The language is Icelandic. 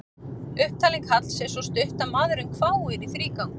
Upptalning Halls er svo stutt að maðurinn hváir í þrígang.